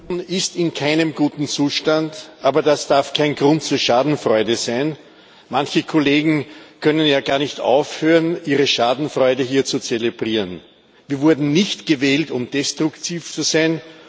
Frau Präsidentin! Die Union ist in keinem guten Zustand, aber das darf kein Grund zur Schadenfreude sein. Manche Kollegen können ja gar nicht aufhören, ihre Schadenfreude hier zu zelebrieren. Wir wurden nicht gewählt, um destruktiv zu sein.